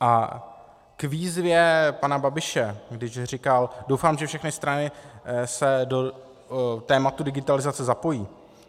A k výzvě pana Babiše, když říkal: doufám, že všechny strany se do tématu digitalizace zapojí.